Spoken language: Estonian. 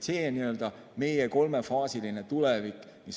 See on n‑ö meie kolmefaasiline tulevik.